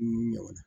Nun ɲaman